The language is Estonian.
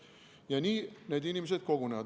Ja nii need inimesed kogunevad.